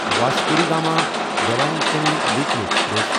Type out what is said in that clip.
Vasco da Gama Velankanni weekly express